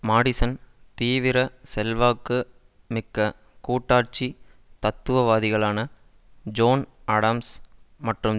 Madison தவிர செல்வாக்கு மிக்க கூட்டாட்சி தத்துவவாதிகளான ஜோன் ஆடம்ஸ் மற்றும்